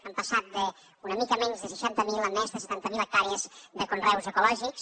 hem passat d’un mica menys de seixanta mil a més de setanta mil hectàrees de conreus ecològics